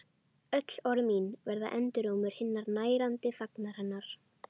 Öll orð mín verða endurómur hinnar nærandi þagnar hennar.